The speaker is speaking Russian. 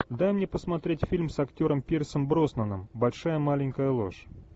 дай мне посмотреть фильм с актером пирсом броснаном большая маленькая ложь